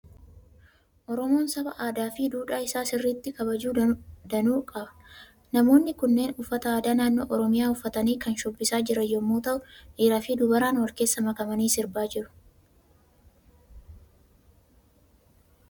Oromoon saba aadaa fi duudhaa isaa sirriitti kabaju danuu qaba. Namoonni kunneen uffata aadaa naannoo Oromiyaa uffatanii kan shubbisaa jiran yommuu ta'u, dhiiraa fi dubaraan wal keessa makamanii sirbaa jiru.